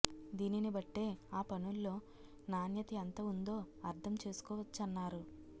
దీనిని బట్టే ఆ పనుల్లో నాణ్యత ఎంత ఉందో అర్థం చేసుకోవచ్చన్నారు